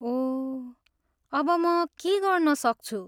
ओह! अब म के गर्नसक्छु?